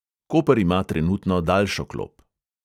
Koper ima trenutno daljšo klop.